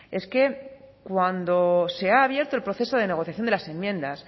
es que cuando se ha abierto el proceso de negociación de las enmiendas